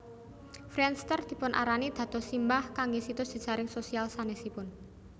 Friendster dipunarani dados simbah kangge situs jejaring sosial sanesipun